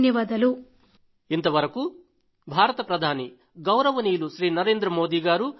ధన్యవాదాలు